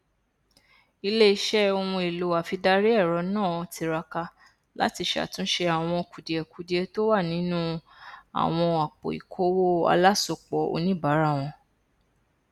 iléiṣẹ ohunèlò afidariẹrọ náà tiraka láti ṣàtúnṣe àwọn kùdìẹkudiẹ tó wà nínú àwọn àpòikowó alásopọ oníbàárà wọn